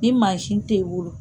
Ni mansin tɛ i bolo